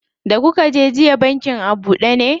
Da kuka je jiya bankin a buɗe ne?